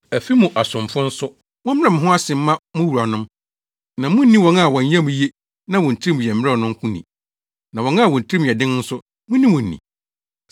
Afi mu asomfo nso, mommrɛ mo ho ase mma mo wuranom, na munnni wɔn a wɔn yam ye na wɔn tirim yɛ mmrɛw no nko ni, na wɔn a wɔn tirim yɛ den nso, munni wɔn ni.